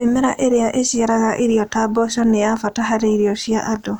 Mĩmera ĩrĩa ĩciaraga irio ta mboco nĩ ya bata harĩ irio cia andũ.